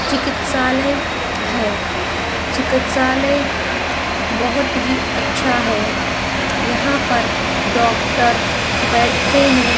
चिकित्सालय है चिकित्सालय बहुत ही अच्छा है यहां पर डॉक्टर बैठते है।